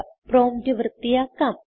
prompt വൃത്തിയാക്കാം